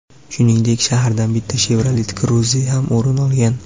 Shuningdek, sharhdan bitta Chevrolet Cruze ham o‘rin olgan.